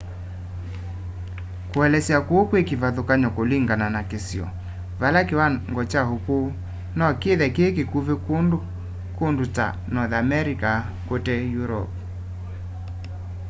kuelesya kuu kwi ivathukany'o kulingana na kisio vala kiwango kya ukuu no kithe ki kikuvi kundu ta north america kute europe